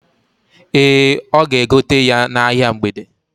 Ee, ọ ga-egote ya n'ahia mgbede.